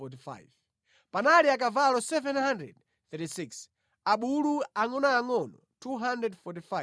Panali akavalo 736, abulu angʼonoangʼono 245.